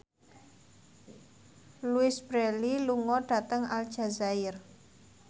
Louise Brealey lunga dhateng Aljazair